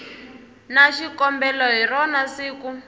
na xikombelo hi rona siku